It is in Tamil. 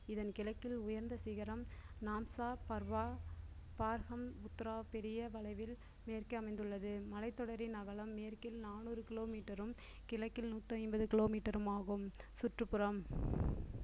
இதன் கிழக்கில் உயர்ந்த சிகரம் நான்சா பர்வா பெரிய வளைவில் மேற்கே அமைந்துள்ளது மலைத்தொடரின் அகலம் மேற்கில் நானூறு kilometer ரும் கிழக்கில் நூற்றி ஐம்பது kilometer ரும் ஆகும் சுற்றுப்புறம்